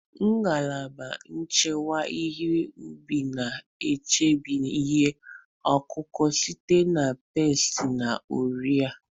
Ngalaba nchekwa ihe ubi na-echebe ihe ọkụkụ site na pesti na ọrịa.